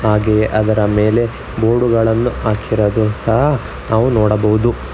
ಹಾಗೆಯೆ ಅದರ ಮೇಲೆ ಬೋರ್ಡು ಗಳನ್ನ ಹಾಕಿರೋದು ಸಹ ನಾವು ನೋಡಬಹುದು.